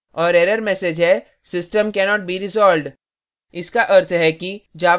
और error message है system cannot be resolved